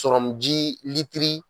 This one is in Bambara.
Sɔrɔmuji litiri